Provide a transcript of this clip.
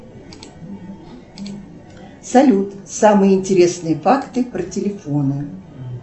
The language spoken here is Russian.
салют самые интересные факты про телефоны